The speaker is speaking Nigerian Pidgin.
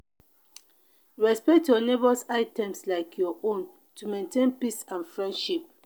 respect your neighbor's items like your own to maintain peace and friendship.